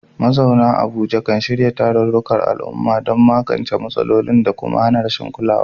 Mazauna Abuja kan shirya tarurrukan al'umma don magance matsalolin da kuma hana rashin kulawa.